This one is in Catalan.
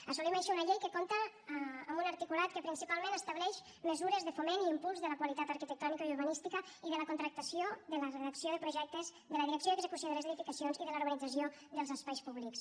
assolim així una llei que compta amb un articulat que principalment estableix mesures de foment i impuls de la qualitat arquitectònica i urbanística de la contractació de la redacció de projectes de la direcció i execució de les edificacions i de la urbanització dels espais públics